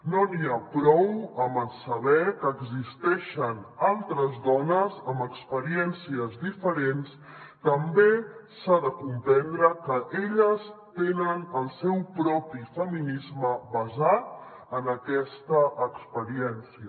no n’hi ha prou amb saber que existeixen altres dones amb experiències diferents també s’ha de comprendre que elles tenen el seu propi feminisme basat en aquesta experiència